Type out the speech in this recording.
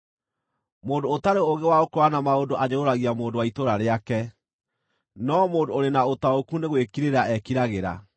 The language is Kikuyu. Mũndũ ũtarĩ ũũgĩ wa gũkũũrana maũndũ anyũrũragia mũndũ wa itũũra rĩake, no mũndũ ũrĩ na ũtaũku nĩ gwĩkirĩra ekiragĩra.